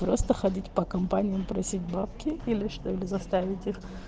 просто ходить по компаниям просить бабки или что или заставить их